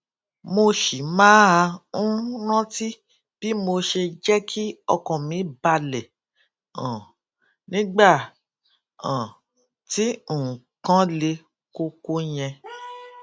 mo ṣì máa ń rántí bí mo ṣe jé kí ọkàn mi balè um nígbà um tí nǹkan le koko yẹn